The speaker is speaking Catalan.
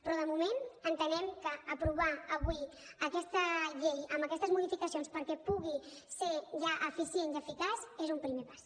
però de moment entenem que aprovar avui aquesta llei amb aquestes modificacions perquè pugui ser ja eficient i eficaç és un primer pas